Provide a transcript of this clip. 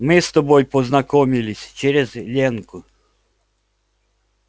мы с тобой познакомились через ленку